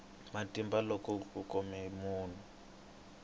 matimba loko ku khomiwa munhu